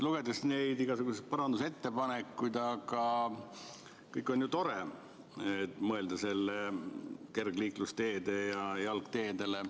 Lugedes neid igasuguseid parandusettepanekuid – kõik on ju tore, kui mõelda kergliiklusteedele ja jalgteedele.